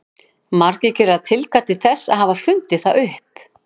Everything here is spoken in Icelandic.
Margir gera tilkall til þess að hafa fundið það upp.